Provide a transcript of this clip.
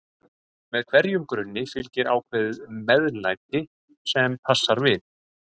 með hverjum grunni fylgir ákveðið MEÐLÆTI sem passar við.